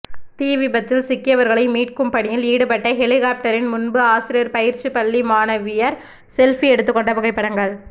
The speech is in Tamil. தீவிபத்தில் சிக்கியவர்களை மீட்கும் பணியில் ஈடுபட்ட ஹெலிகாப்டரின் முன்பு ஆசிரியர் பயிற்சி பள்ளி மாணவியர் செல்ஃபி எடுத்துக்கொண்ட புகைப்படங்கள்